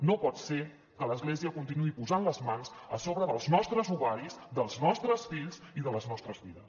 no pot ser que l’església continuï posant les mans a sobre dels nostres ovaris dels nostres fills i de les nostres vides